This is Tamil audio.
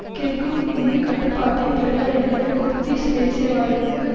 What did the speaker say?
கிர்குக் மீது கட்டுப்பாட்டை பெறுதல் என்பது குர்திஷ் தேசியவாதிகளுக்கு